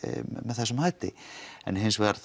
með þessum hætti en hins vegar